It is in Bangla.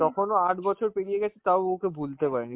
তখনো আট বছর পেরিয়ে গেছে তাও ও ওকে বলতে পারেনি